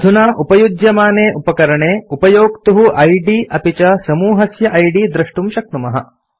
अधुना उपयुज्यमाने उपकरणे उपयोक्तुः इद् अपि च समूहस्य इद् द्रष्टुं शक्नुमः